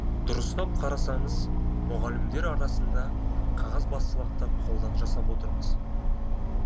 дұрыстап қарасаңыз мұғалімдер арасында қағазбастылықты қолдан жасап отырмыз